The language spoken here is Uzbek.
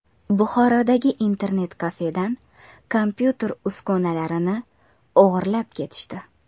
Buxorodagi internet-kafedan kompyuter uskunalarini o‘g‘irlab ketishdi.